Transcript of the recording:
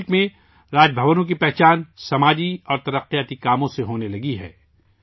اب ملک میں راج بھونوں کی پہچان، سماجی اور ترقیاتی کام کاج سے ہونے لگی ہے